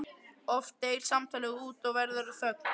Oft deyr samtalið út og verður að þögn.